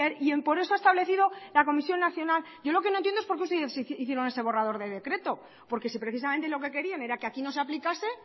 y por eso ha establecido la comisión nacional yo lo que no entiendo es por qué ustedes hicieron ese borrador de decreto porque si precisamente lo que querían era que aquí no se aplicase